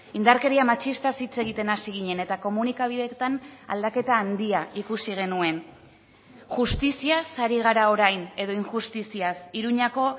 indarkeria matxistaz hitz egiten hasi ginen eta komunikabideetan aldaketa handia ikusi genuen justiziaz ari gara orain edo injustiziaz iruñako